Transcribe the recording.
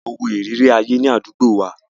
A lọ wó ìrírí ayé ní àdúgbò wa.